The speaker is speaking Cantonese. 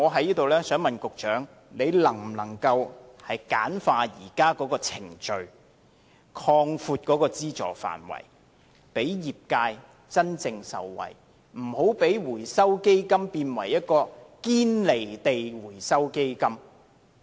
因此，我想問局長，他能否簡化現時的程序，擴闊資助範圍，讓業界真正受惠，不要讓回收基金變成"堅離地回收基金"？